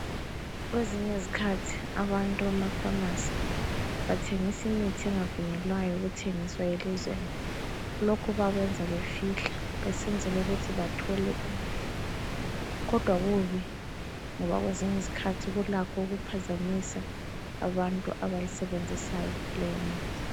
Kwezinye izikhathi abantu emafamasi bathengisa imithi engavunyelwayo ukuthengisa elizweni, lokhu bakwenza befihla besesenzela ukuthi bathole imali kodwa kubi, ngoba kwezinye izikhathi kulakho ukuphazamisa abantu abayisebenzisayo leyo mithi.